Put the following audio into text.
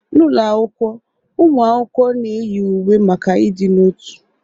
N'ụlọ akwụkwọ, ụmụ akwụkwọ na-eyi uwe maka ịdị n'otu.